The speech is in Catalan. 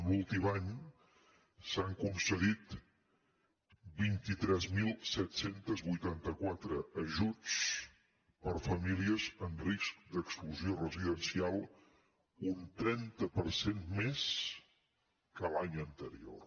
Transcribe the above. l’últim any s’han concedit vint tres mil set cents i vuitanta quatre ajuts per a famílies en risc d’exclusió residencial un trenta per cent més que l’any anterior